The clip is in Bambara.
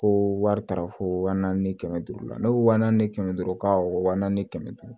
Ko wari taara fo wa naani kɛmɛ duuru la ne ko wa naani ni kɛmɛ duuru ka wa naani kɛmɛ duuru